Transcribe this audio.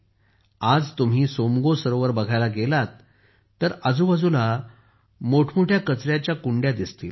आज तुम्ही सोमगो सरोवर बघायला गेलात तर आजूबाजूला मोठमोठे कचऱ्याचे डबे दिसतील